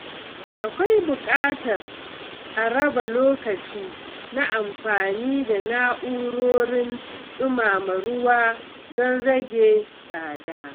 Akwai buƙatar a raba lokaci na amfani da na’urorin dumama ruwa don rage tsada.